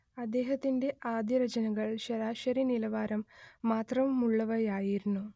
അദ്ദേഹത്തിന്റെ ആദ്യരചനകൾ ശരാശരി നിലവാരം മാത്രമുള്ളവയായിരുന്നു